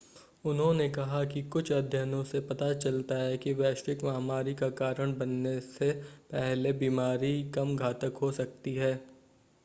उन्होंने कहा कि कुछ अध्ययनों से पता चलता है कि वैश्विक महामारी का कारण बनने से पहले बीमारी कम घातक हो सकती है